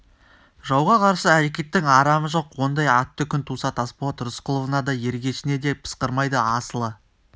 жауға қарсы әрекеттің арамы жоқ ондай атты күн туса тасболат рысқұловыңа да ергешіңе де пысқырмайды асылы